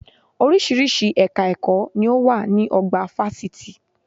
Orísìírísìí ẹ̀ka ẹ̀kọ́ ni ó wà ní ọgbà fásitì